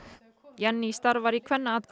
Jenný starfar í